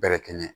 Bɛrɛkɛ